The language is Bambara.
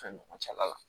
Fɛn ɲɔgɔn cɛla la